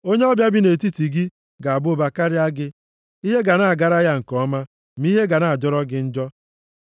Onye ọbịa bi nʼetiti gị ga-aba ụba karịa gị. Ihe ga na-agara ya nke ọma, ma ihe ga na-ajọrọ gị njọ.